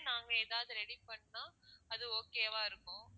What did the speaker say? நாங்க ஏதாவது ready பண்ணினா அது okay வா இருக்கும்